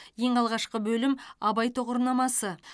ең алғашқы бөлім абай тұғырнамасы